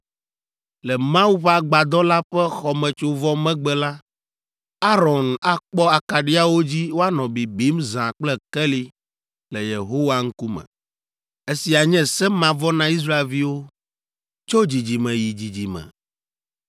Le Mawu ƒe Agbadɔ la ƒe xɔmetsovɔ megbe la, Aron akpɔ akaɖiawo dzi woanɔ bibim zã kple keli le Yehowa ŋkume. Esia nye se mavɔ na Israelviwo tso dzidzime yi dzidzime.